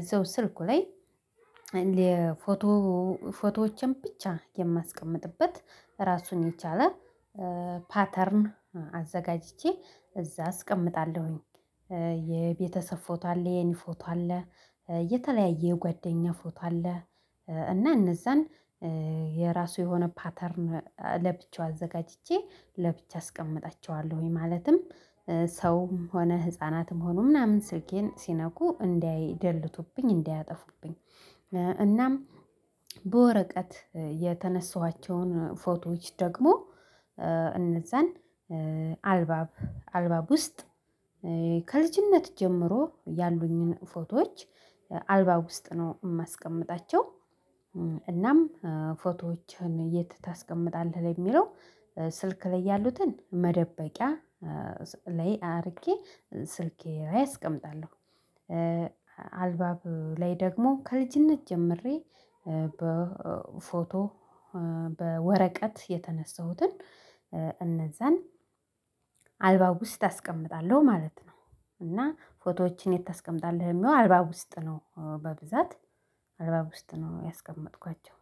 እዛው ስልኩ ላይ የፎቶ ፎቶዎችን ብቻ የማስቀምጥበት ራሱን የቻለ ፓተርን አዘጋጅቼ እዛ አስቀምጣለሁኝ። የቤተሰብ ፎቶ አለ የኔ ፎቶ አለ የተለያየ ጓደኛ ፎቶ አለ እና እነዛን የራሱ የሆነ ፓተርን ለብቻው አዘጋጅቼ ለብቻ አስቀምጣቸዋለሁኝ ማለትም ሰውም ሆነ ህፃናትም ሆኖ ምናምን ስልኬን ሲነኩ እንዳይደለቱብኝ እንዳያጠፉብኝ እናም በወረቀት የተነሳኋቸውን ፎቶዎች ደግሞ እንዛን አልባብ አልባብ ውስጥ ከልጅነት ጀምሮ ያሉኝን ፎቶዎች አልባብ ውስጥ ነው ማስቀምጣቸው። እናም ፎቶዎችህን የት ታስቀምጣለህ ለሚለው ስልክ ላይ ያሉትን መደበቂያ ላይ አድርጌ ስልኬ ላይ አስቀምጣለሁ። አልባብ ላይ ደግሞ ከልጅነት ጀምሬ በፎቶ በወረቀት የተነሳሁትን እነዛን አልባብ ውስጥ አስቀምጣለሁ ማለት ነው እና ፎቶዎችን የት ታስቀምጣለህ? ለሚለው አልባብ ውስጥ ነው በብዛት አልባብ ውስጥ ነው ያስቀመጥኳቸው።